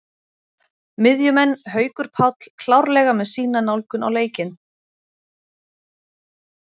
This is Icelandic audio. Miðjumenn: Haukur Páll klárlega með sína nálgun á leikinn.